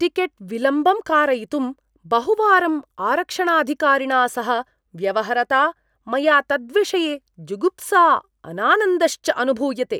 Ticket विलम्बं कारयितुं बहुवारं आरक्षणाधिकारिणा सह व्यवहरता मया तद्विषये जुगुप्सा अनानन्दश्च अनुभूयते।